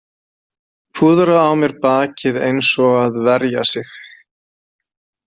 Púðra á mér bakið eins og að verja sig